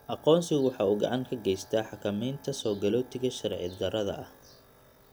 Aqoonsigu waxa uu gacan ka geystaa xakamaynta soogalootiga sharci-darrada ah.